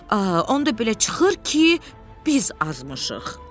Onda belə çıxır ki, biz azmışıq.